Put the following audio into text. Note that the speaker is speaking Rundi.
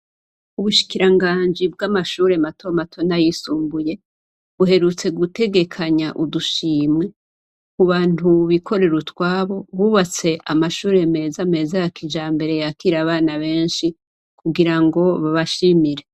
Ubushikiranganji bw'amashure matomato n'ayisumbuye buherutse gutegekanya udushimwe ku bantu bikorera utwabo bubatse amashure meza meza ya kijambere yakira abana benshi kugira ngo babashimire.